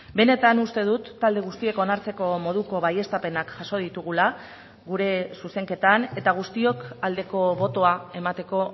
benetan uste dut talde guztiek onartzeko moduko baieztapenak jaso ditugula gure zuzenketan eta guztiok aldeko botoa emateko